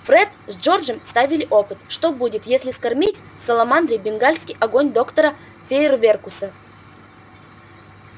фред с джорджем ставили опыт что будет если скормить саламандре бенгальский огонь доктора фейерверкуса